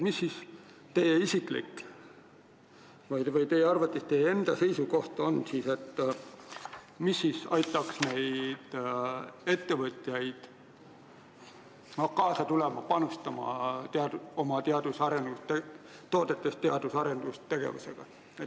Mis teie isiklik seisukoht on, mis aitaks ettevõtjatel panustada teadus- ja arendustegevusse?